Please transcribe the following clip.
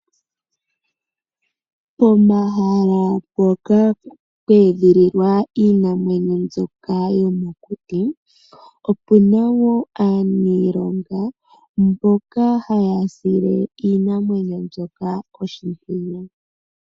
Pomahala mpoka pwe edhililwa iinamwenyo mbyoka yomokuti opu na wo aaniilonga mboka haya sile iinamwenyo mbyoka oshimpwiyu.